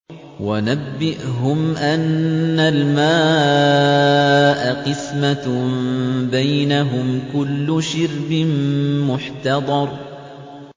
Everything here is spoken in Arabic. وَنَبِّئْهُمْ أَنَّ الْمَاءَ قِسْمَةٌ بَيْنَهُمْ ۖ كُلُّ شِرْبٍ مُّحْتَضَرٌ